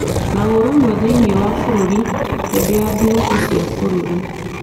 na ũrũmwe thĩinĩ wa bũrũri hĩndĩ ya thigũkũ cia bũrũri.